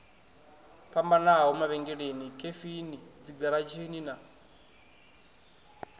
fhambanaho mavhengeleni khefini dzigaratshini na